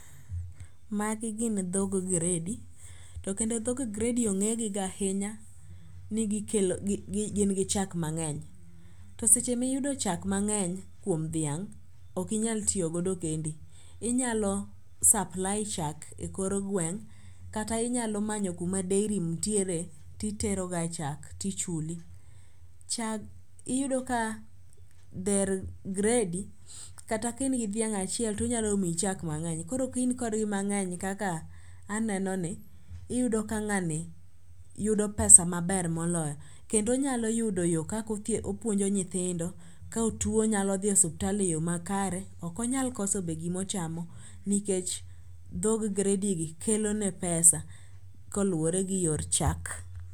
Magi gin dhog gredi to kendo dhog gredi ong'egi ga ahinya ni gin gi chak mang'eny, to seche miyudo chak mang'eny kuom dhiang' okinyal tiyogodo kendi, inyalo supply chak e kor gweng' kata inyalo manyo kuma dairy ntiere titeroga chak tichuli. Iyudo ka dher gredi kata ka in dhiang' achiel tonyalo miyi chak mang'eny koro kin kodgi mang'eny kaka anenoni iyudo ka ng'ani yudo pesa maber moloyo kendo onyalo yudo yo kaka opuonjo nyithindo, ka otuo onyalo dhi osuptal e yo makare, okonyal koso be gimochamo nikech dhog gredigi kelone pesa koluwore gi yor chak.